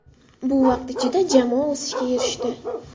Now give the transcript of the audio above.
Bu vaqt ichida jamoa o‘sishga erishdi.